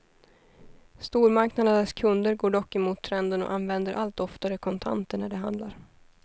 Stormarknadernas kunder går dock emot trenden och använder allt oftare kontanter när de handlar.